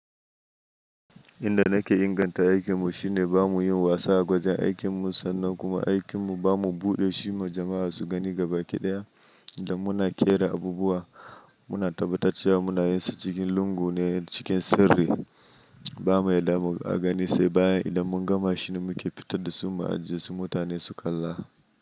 Inda nake inganta aikin mu shine ba mu yi wasa a gwajin aikin mu sannan kuma aikin mu ba mu buɗe shi ma jama'a su gani ga baki ɗaya. Inda muna kera abubuwa muna tabbatar cewa muna yin su cikin lungu ne cikin sirri. Bamu yadda a gani sai bayan idan mun gama shi ne muke fitar da su ma a jiya su mutane su kalla.